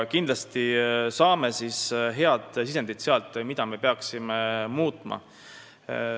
Kindlasti saame sealt head sisendid, mida me peaksime muutma.